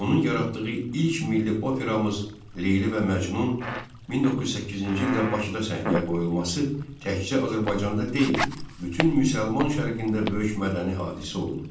Onun yaratdığı ilk milli operamız Leyli və Məcnun 1908-ci ildə Bakıda səhnəyə qoyulması təkcə Azərbaycanda deyil, bütün müsəlman şərqində böyük mədəni hadisə oldu.